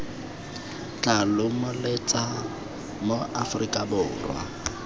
tla lomeletsa ma aforika borwa